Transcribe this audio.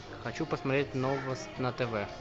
хочу посмотреть новость на тв